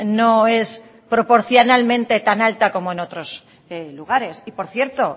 no es proporcionalmente tan alta como en otros lugares y por cierto